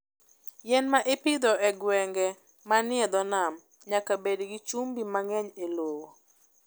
Yien ma ipidho e gwenge manie dho nam nyaka bed gi chumbi mang'eny e lowo.